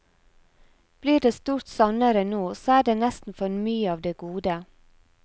Blir det stort sannere nå, så er det nesten for mye av det gode.